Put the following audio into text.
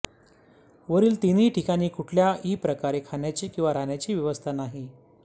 वरील तीनही ठिकाणी कुठल्या ही प्रकारे खाण्याची किंवा राहण्याची व्यवस्था नाही